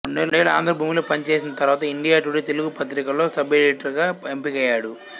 రెండేళ్ళు ఆంధ్రభూమిలో పనిచేసిన తరువాత ఇండియా టుడే తెలుగు పత్రికలో సబ్ ఎడిటర్ గా ఎంపికయ్యాడు